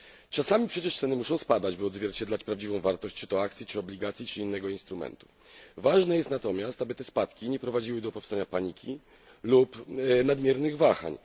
Czasami przecież ceny muszą spadać, aby odzwierciedlać prawdziwą wartość czy to akcji, czy obligacji, czy innego instrumentu. Ważne jest natomiast, aby te spadki nie prowadziły do powstania paniki lub nadmiernych wahań.